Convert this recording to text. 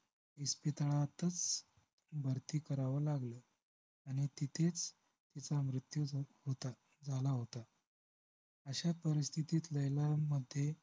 इस्पितळातच भरती करावं लागलं आणि तिथेच तिचा मृत्यू होत होता झाला होता अश्या परीस्थितीत लैला मध्ये